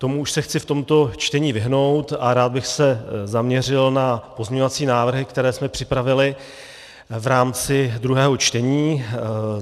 Tomu už se chci v tomto čtení vyhnout a rád bych se zaměřil na pozměňovací návrhy, které jsme připravili v rámci druhého čtení.